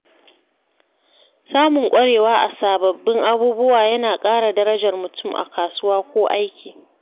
Samun ƙwarewa a sababbin abubuwa yana ƙara darajar mutum a kasuwa ko aiki.